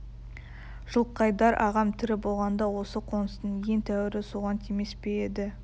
жылқайдар ағам тірі болғанда осы қоныстың ең тәуірі соған тимес пе еді